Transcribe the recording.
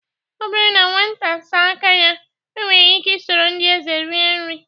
Ọ bụrụ na nwata saa aka ya, o nwere ike soro ndị eze rie nri.